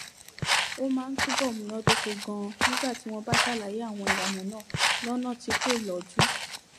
ó máa ń túbò múnádóko ganan nígbà tí wón bá ṣàlàyé àwọn ìlànà náà lónà tí kò lọjú